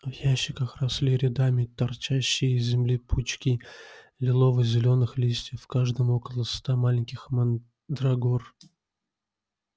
в ящиках росли рядами торчащие из земли пучки лилово-зелёных листьев в каждом около ста маленьких мандрагор